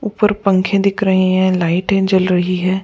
ऊपर पंखे दिख रहे है लाइट जल रही है।